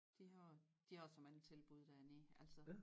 De har de har så mange tilbud dernede altså